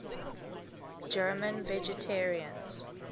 german vegetarians